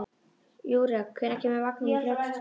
Júrek, hvenær kemur vagn númer þrjátíu og tvö?